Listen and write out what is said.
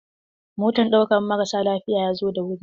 Motan ɗaukan marasa lafiya ya zo da wuri.